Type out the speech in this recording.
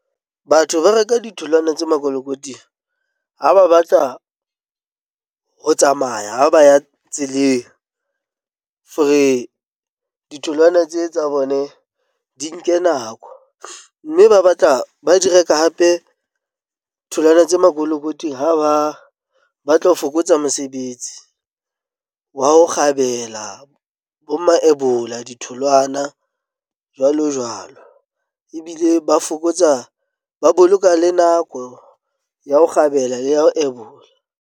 Batho ba reka ditholwana tse makolokoting ha ba batla ho tsamaya ba ya tseleng. Ditholwana tse tsa bone di nke nako mme ba batla ba di reka hape tholwana tse makolokoting ha ba batla ho fokotsa mosebetsi wa ho kgabela bo mayebola ditholwana jwalo jwalo ebile ba fokotsa ba boloka le nako ya ho kgabela le ya ho ebola.